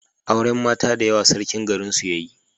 auren mata da yawa sarkin garin su yayi